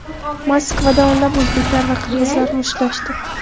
Moskvada o‘nlab o‘zbeklar va qirg‘izlar mushtlashdi.